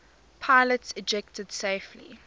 pilots ejected safely